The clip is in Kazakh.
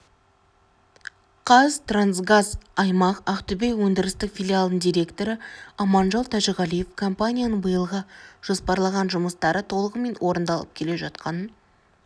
қазтрансгаз аймақ ақтөбе өндірістік филиалының директоры аманжол тәжіғалиев компанияның биылға жоспарлаған жұмыстары толығымен орындалып келе жатқанын